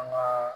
An ka